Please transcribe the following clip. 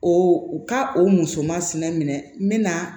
O u ka o musomansina minɛ